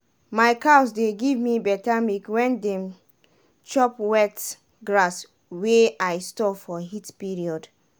my cows dey give me better milk when dem chop better grass wey i store for heat period